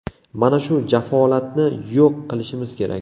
Mana shu jafolatni yo‘q qilishimiz kerak.